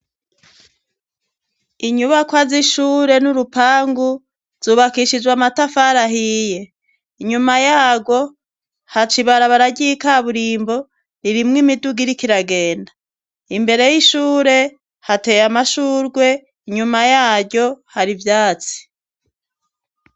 Inyubakwa z'ishure n'urupangu zubakishijwe amatafarahiye inyuma yaro haca ibara baragiykaburimbo ririmwo imidugirikiragenda imbere y'ishure hateye amashurwe inyuma yaryo hari ivyatsi.